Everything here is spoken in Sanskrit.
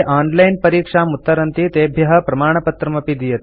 ये ऑनलाइन परीक्षाम् उत्तरन्ति तेभ्यः प्रमाणपत्रमपि दीयते